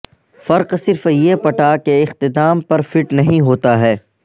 فرق صرف یہ پٹا کے اختتام پر فٹ نہیں ہوتا ہے